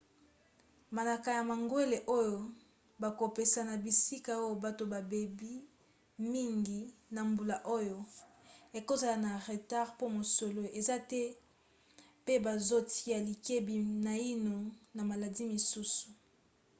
manaka ya mangwele oyo bakopesa na bisika oyo bato babeli mingi na mbula oyo ekozala na retard po mosolo eza te pe bazotia likebi naino na maladi misusu